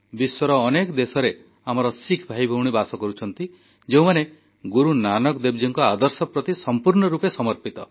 ବିଶ୍ୱର ଅନେକ ଦେଶରେ ଆମର ଶିଖ୍ ଭାଇଭଉଣୀ ବାସ କରୁଛନ୍ତି ଯେଉଁମାନେ ଗୁରୁ ନାନକ ଦେବଜୀଙ୍କ ଆଦର୍ଶ ପ୍ରତି ସମ୍ପୂର୍ଣ୍ଣ ରୂପେ ସମର୍ପିତ